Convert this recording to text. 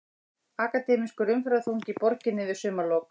Akademískur umferðarþungi í borginni við sumarlok